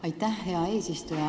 Aitäh, hea eesistuja!